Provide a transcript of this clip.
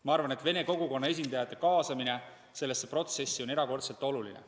Ma arvan, et ka venekeelse kogukonna esindajate kaasamine sellesse protsessi on erakordselt oluline.